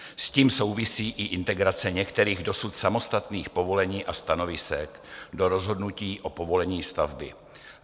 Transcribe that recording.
S tím souvisí i integrace některých dosud samostatných povolení a stanovisek do rozhodnutí o povolení stavby.